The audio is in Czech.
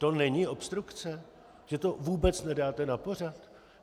To není obstrukce, že to vůbec nedáte na pořad?